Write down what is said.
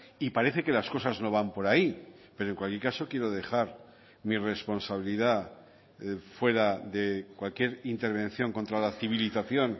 y parece que las cosas no van por ahí pero en cualquier caso quiero dejar mi responsabilidad fuera de cualquier intervención contra la civilización